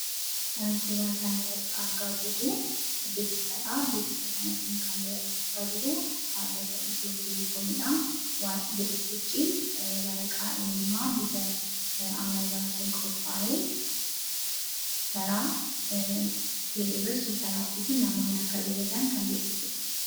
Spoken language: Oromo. Kan suura kana irratti argaa jirru beeksisadha. Beeksisa kana kan dabarfachaa jirus dhabbata Itiyoo Telekoomidha. Beeksisichis waraqaa eenyummaa bifa ammayyaa'aa ta'een qophaa'ee karaa Itiyoo Telekoom supper appiidhaan namoonni akka ajajatan kan beeksisudha.